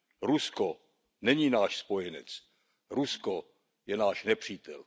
Rusko není náš spojenec, Rusko je náš nepřítel.